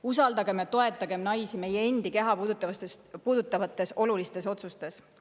Usaldagem ja toetagem naisi nende endi keha puudutavates olulistes otsustes.